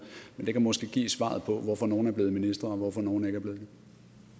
men det kan måske give svaret på hvorfor nogle er blevet ministre og hvorfor nogle ikke er blevet